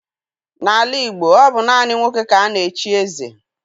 N'ala Igbo, ọ bụ naanị nwoke ka a na-echi eze.